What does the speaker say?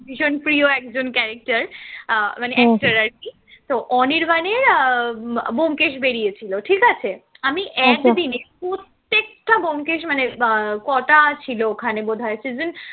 ভীষণ প্রিয় একজন character আহ মানে actor আর কি, তো অনির্বাণের আহ ব্যোমকেশ বেরিয়েছিল ঠিক আছে, আমি এক দিনে প্রত্যেকটা ব্যোমকেশ মানে আহ কটা ছিল ওখানে বোধহয় season